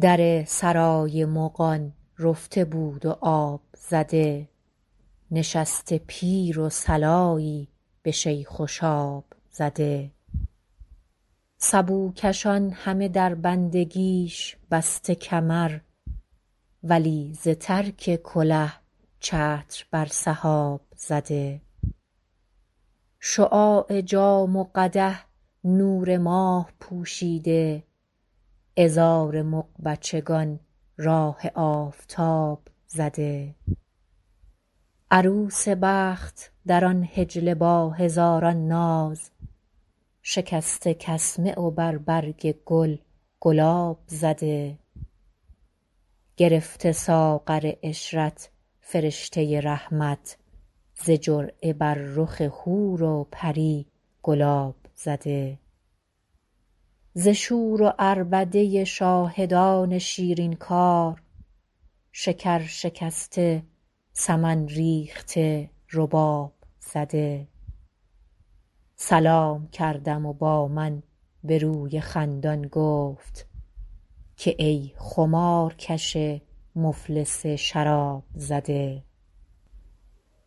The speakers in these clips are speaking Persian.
در سرای مغان رفته بود و آب زده نشسته پیر و صلایی به شیخ و شاب زده سبوکشان همه در بندگیش بسته کمر ولی ز ترک کله چتر بر سحاب زده شعاع جام و قدح نور ماه پوشیده عذار مغ بچگان راه آفتاب زده عروس بخت در آن حجله با هزاران ناز شکسته کسمه و بر برگ گل گلاب زده گرفته ساغر عشرت فرشته رحمت ز جرعه بر رخ حور و پری گلاب زده ز شور و عربده شاهدان شیرین کار شکر شکسته سمن ریخته رباب زده سلام کردم و با من به روی خندان گفت که ای خمارکش مفلس شراب زده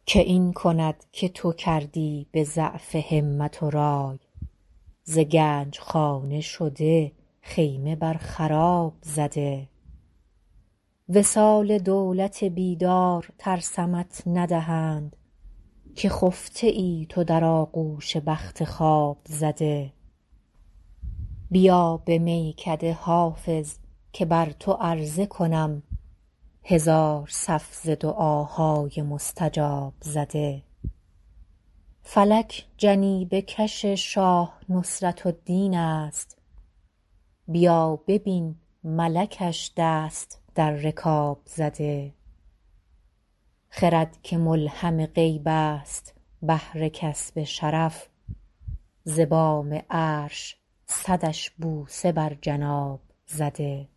که این کند که تو کردی به ضعف همت و رای ز گنج خانه شده خیمه بر خراب زده وصال دولت بیدار ترسمت ندهند که خفته ای تو در آغوش بخت خواب زده بیا به میکده حافظ که بر تو عرضه کنم هزار صف ز دعاهای مستجاب زده فلک جنیبه کش شاه نصرت الدین است بیا ببین ملکش دست در رکاب زده خرد که ملهم غیب است بهر کسب شرف ز بام عرش صدش بوسه بر جناب زده